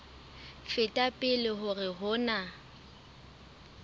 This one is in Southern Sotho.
feta pele hore ho na